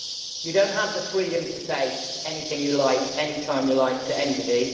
You do not have the freedom to say anything you like, anytime you like, to anybody.